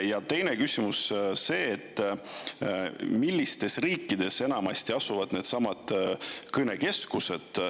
Ja teine küsimus on see, et millistes riikides need kõnekeskused enamasti asuvad.